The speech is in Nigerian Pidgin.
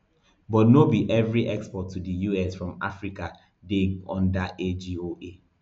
but no be no be evri export to di us from africa dey under agoa